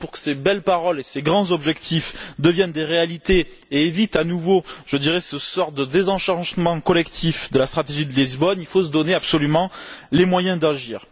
Pour que ces belles paroles et ces grands objectifs deviennent des réalités et évitent à nouveau, je dirais, cette sorte de désenchantement collectif de la stratégie de Lisbonne, il faut se donner absolument les moyens d'agir.